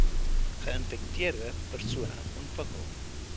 geinfekteerde persone ontwikkel